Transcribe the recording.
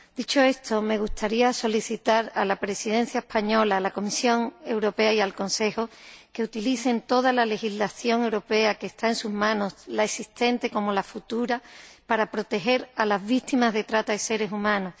Dicho esto, me gustaría solicitar a la Presidencia española, a la Comisión Europea y al Consejo que utilicen toda la legislación europea que está en sus manos, tanto la existente como la futura, para proteger a las víctimas de la trata de seres humanos.